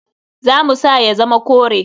Za mu sa ya zama kore.